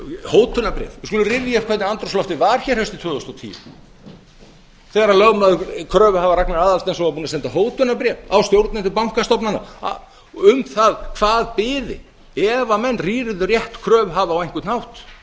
hótunarbréf við skulum rifja upp hvernig andrúmsloftið var hér haustið tvö þúsund og tíu þegar lögmaður kröfuhafa ragnar aðalsteinsson var búinn að senda hótunarbréf á stjórnendur bankastofnana um það hvað biði ef menn rýrðu rétt kröfuhafa á einhvern hátt það